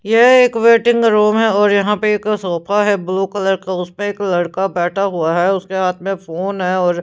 ये एक waiting room है और यहां पे एक सोफा है ब्लू कलर का उसमें एक लड़का बैठा हुआ है उसके हाथ में फोन है और --